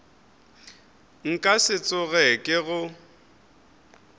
nka se tsoge ke go